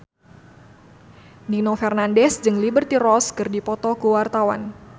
Nino Fernandez jeung Liberty Ross keur dipoto ku wartawan